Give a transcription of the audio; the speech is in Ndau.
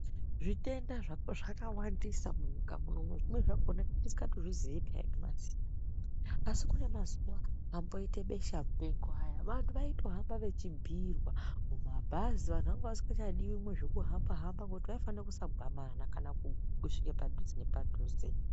Zvitenda zvakawandisa munyika munomu zvimweni zvakona tinenge tisikatozvizii nyamasi. Asi kune mazuva amboite beshamupengo aya vantu vaitohamba vechibhuirwa mabhazi vantu vanga vasingachidivi mune zvekuhamba-hamba. Ngekuti vaifana kusagwamana kana kusvika padhuze nepadhuze.